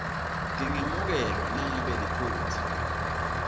tingemukelwa nangabe liphutsa